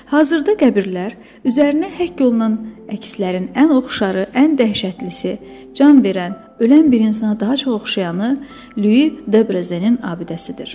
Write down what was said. Hazırda qəbirlər üzərinə həkk olunan əkislərin ən oxşarı, ən dəhşətlisi, can verən, ölən bir insana daha çox oxşayanı Lyui Debrezenin abidəsidir.